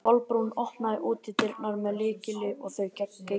Kolbrún opnaði útidyrnar með lykli og þau gengu inn.